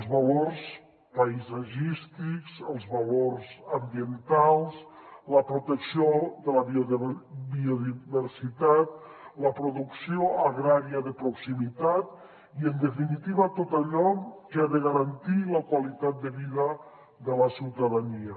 els valors paisatgístics els valors ambientals la protecció de la biodiversitat la producció agrària de proximitat i en definitiva tot allò que ha de garantir la qualitat de vida de la ciutadania